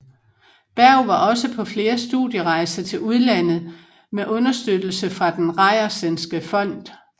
Bergh var også på flere studierejser til udlandet med uderstøttelse fra Den Reiersenske Fond